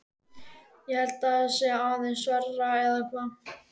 Ég held að það sé aðeins verra, eða hvað?